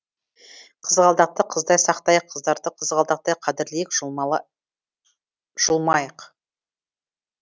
қызғалдақты қыздай сақтайық қыздарды қызғалдақтай қадірлейік жұлмайық